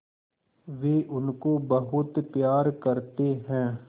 वे उनको बहुत प्यार करते हैं